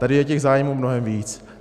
Tady je těch zájmů mnohem víc.